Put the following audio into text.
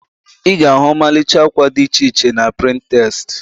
Ị ga-ahu ọmalịcha akwa did iche iche na Pịntrest